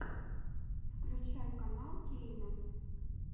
включай канал кейна